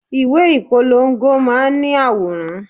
Ìwé ìpolongo máa ń ní àwòrán.